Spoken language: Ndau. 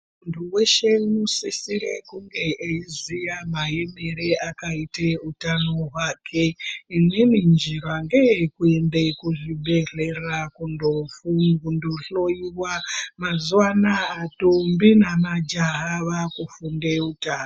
Munhu weshe unosisirwa kunge eiziya maemere akaite hutano hwake imweni njira ndeye kuenda kuzvibhedhlera kunohloiwa mazuva anaya mandombi nemajaha vakufunde hutano.